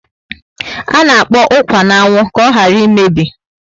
Ana akpọ ukwa na anwụ ka oghara emebi